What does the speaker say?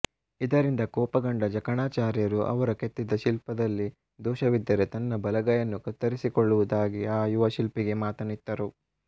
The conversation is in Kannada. ಇದರಿಂದ ಕೋಪಗೊಂಡ ಜಕಣಾಚಾರ್ಯರು ಅವರು ಕೆತ್ತಿದ ಶಿಲ್ಪದಲ್ಲಿ ದೋಷವಿದ್ದರೆ ತನ್ನ ಬಲಗೈಯನ್ನು ಕತ್ತರಿಸಿಕೊಳ್ಳುವುದಾಗಿ ಆ ಯುವ ಶಿಲ್ಪಿಗೆ ಮಾತನ್ನಿತ್ತರು